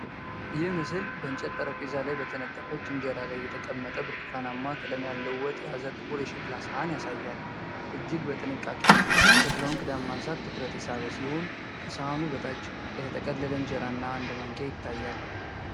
ይህ ምስል በእንጨት ጠረጴዛ ላይ በተነጠፈች እንጀራ ላይ የተቀመጠ ብርቱካናማ ቀለም ያለው ወጥ የያዘ ጥቁር የሸክላ ሳህን ያሳያል። እጅግ በጥንቃቄ የሸክላውን ክዳን ማንሳት ትኩረት የሳበ ሲሆን፣ ከሳህኑ በታች የተጠቀለለ እንጀራ እና አንድ ማንኪያ ይታያል።